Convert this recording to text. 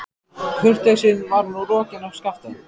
Kurteisin var nú rokin af Skapta.